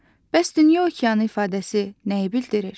Bəs dünya okeanı ifadəsi nəyi bildirir?